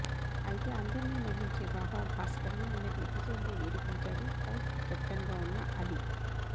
అయితే అందర్నీ నవ్వించే బాబా భాస్కర్ని నిన్నటి ఎపిసోడ్లో ఏడిపించాడు హౌస్కి కెప్టెన్గా ఉన్న అలీ